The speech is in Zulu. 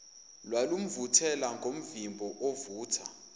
lwalumvuthela ngomvimbo ovutha